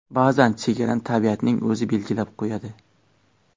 Ba’zan chegarani tabiatning o‘zi belgilab qo‘yadi.